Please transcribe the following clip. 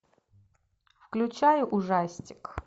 включай ужастик